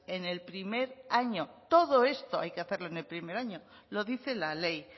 en el primer año todo esto hay que hacerlo en el primer año lo dice la ley